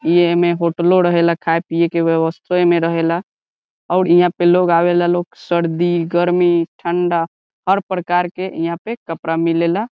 इ एमे होटलों रहेला खाय पिए के व्यवस्था इमे रहेला और इहा पे लोग आवेला लोग सर्दी गर्मी ठंडा हर प्रकार के इहा पे कपड़ा मिलेला।